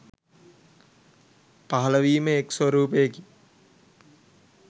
පහළවීම එක් ස්වරූපකි.